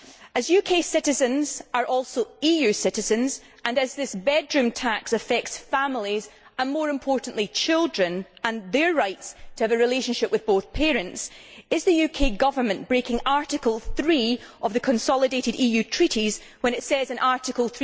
As UK citizens are also EU citizens, and as this bedroom tax affects families and, more importantly, children and their rights to have a relationship with both parents, is the UK Government breaking Article 3 of the consolidated EU Treaties, given that Article